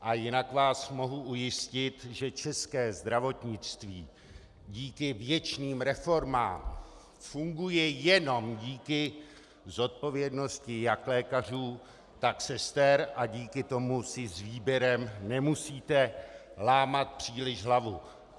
A jinak vás mohu ujistit, že české zdravotnictví díky věčným reformám funguje jenom díky zodpovědnosti jak lékařů, tak sester a díky tomu si s výběrem nemusíte lámat příliš hlavu.